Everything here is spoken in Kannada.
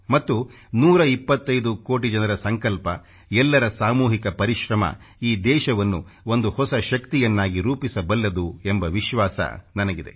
ಮತ್ತು 125 ಕೋಟಿ ಜನರ ಸಂಕಲ್ಪ ಎಲ್ಲರ ಸಾಮೂಹಿಕ ಪರಿಶ್ರಮ ಈ ದೇಶವನ್ನು ಒಂದು ಹೊಸ ಶಕ್ತಿಯನ್ನಾಗಿ ರೂಪಿಸಬಲ್ಲದು ಎಂಬ ವಿಶ್ವಾಸ ನನಗಿದೆ